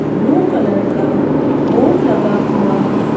Blue colour का board लगा हुआ है।